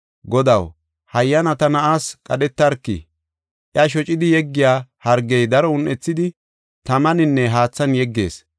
“Godaw, hayyana ta na7aas qadhetarki; iya shocidi yeggiya hargey daro un7ethidi tamaninne haathan yeggees.